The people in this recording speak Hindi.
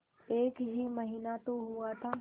एक ही महीना तो हुआ था